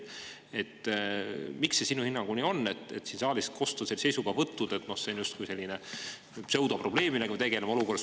Miks see sinu hinnangul nii on, et siin saalis on kostnud sellised seisukohavõtud, et see on justkui mingi pseudoprobleem, millega me tegeleme?